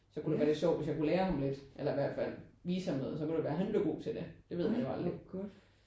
Så kunne det være lidt sjovt hvis jeg kunne lære ham lidt eller i hvert fald vise ham noget. Så kunne det være at han blev god til det det ved man jo aldrig